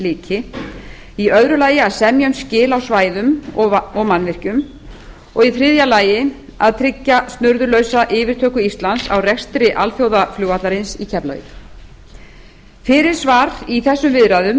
lyki í öðru lagi að semja um skil á svæðum og mannvirkjum og í þriðja lagi að tryggja snurðulausa yfirtöku íslands á rekstri alþjóðaflugvallarins í keflavík fyrirsvar í þessum viðræðum